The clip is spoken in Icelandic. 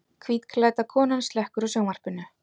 Hvítklædda konan slekkur á sjónvarpinu.